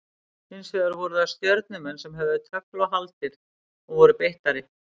Hins vegar voru það Stjörnumenn sem höfðu tögl og haldir og voru beittari.